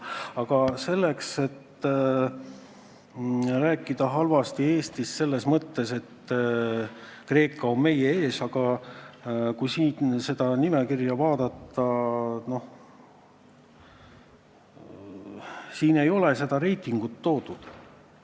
Aga et rääkida halvasti Eestist selles mõttes, et Kreeka on meie ees – kui seda nimekirja vaadata, siis näeme, et otsest reitingut toodud ei ole.